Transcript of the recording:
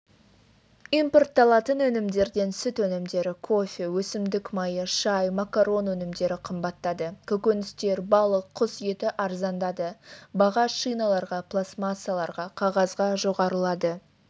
импортталатын өнімдерден сүт өнімдері кофе өсімдік майы шай макарон өнімдері қымбаттады көкөністер балық құс еті арзандады баға шиналарға пластмассаларға қағазға жоғарылады